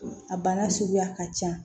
A bana suguya ka can